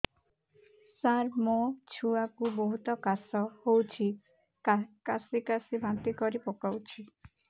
ସାର ମୋ ଛୁଆ କୁ ବହୁତ କାଶ ହଉଛି କାସି କାସି ବାନ୍ତି କରି ପକାଉଛି